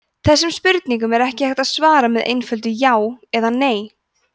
þessum spurningum er ekki hægt að svara með einföldu „já“ eða „nei“